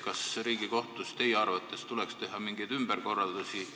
Kas Riigikohtus tuleks teie arvates teha mingeid ümberkorraldusi?